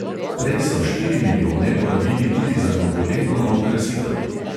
Prej so štiri milijone porabili tudi za novoletno okrasitev.